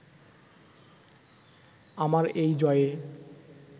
আমার এই জয়ে